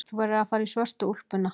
Þú verður að fara í svörtu úlpuna.